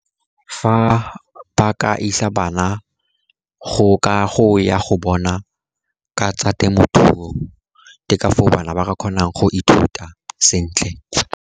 Fa ba ka isa bana go ya go bona ka tsa temothuo, ke ka foo bana ba re kgonang go ithuta sentle.